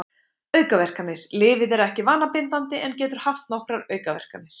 Aukaverkanir Lyfið er ekki vanabindandi en getur haft nokkrar aukaverkanir.